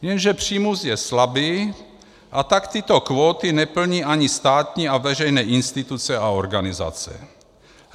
Jenže přímus je slabý, a tak tyto kvóty neplní ani státní a veřejné instituce a organizace.